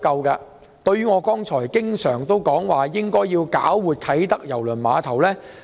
正如我經常說，政府應搞活啟德郵輪碼頭。